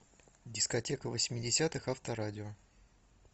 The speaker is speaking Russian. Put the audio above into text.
дискотека восьмидесятых авторадио